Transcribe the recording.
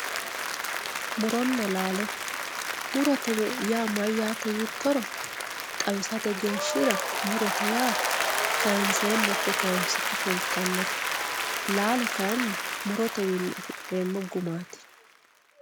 muronna laalo. murote yaa mayyaate yiittoro xawisate geeshshira murote yaa kaanseenna ikko kaansikki fultannote laalo kayiinni murotewiinni afi'neemmo gumaati.